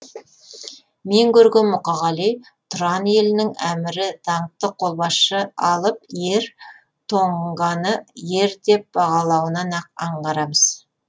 мен көрген мұқағали тұран елінің әмірі даңқты қолбасшы алып ер тоңғаны ер деп бағалауынан ақ аңғарамыз